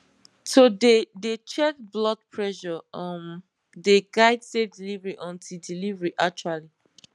to dey dey check blood pressure um dey guide safe delivery until delivery actually